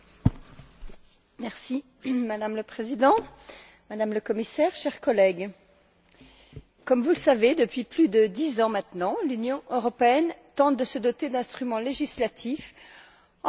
Madame la Présidente, Madame la Commissaire, chers collègues, comme vous le savez, depuis plus de dix ans maintenant, l'Union européenne tente de se doter d'instruments législatifs en matière d'immigration économique.